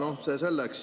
Aga see selleks.